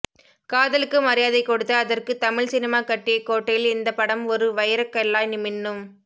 காதலுக்கு மரியாதை கொடுத்து அதற்க்கு தமிழ் சினிமா கட்டிய கோட்டையில் இந்த படம் ஒரு வைர கல்லாய் மின்னும்